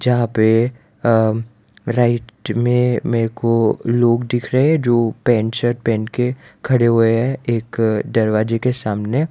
जहां पे अ राइट में मेरे को लोग दिख रहे जो पैंट शर्ट पहन के खड़े हुए हैं एक दरवाजे के सामने --